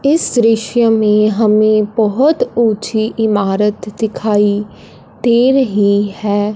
इस दृश्य में हमें बहोत ऊंची इमारत दिखाई दे रही है।